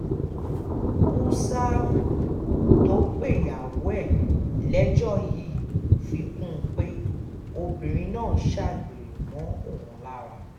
húṣáábù tó pẹyàwó ẹ̀ lẹ́jọ́ yìí fi kún un pé obìnrin náà ń ṣàgbèrè mọ́ òun lára